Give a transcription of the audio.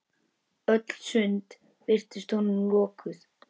Öll sund virtust honum lokuð.